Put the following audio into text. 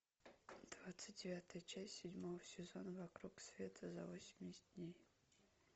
двадцать девятая часть седьмого сезона вокруг света за восемьдесят дней